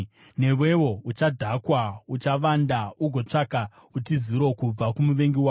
Newewo uchadhakwa; uchavanda ugotsvaka utiziro kubva kumuvengi wako.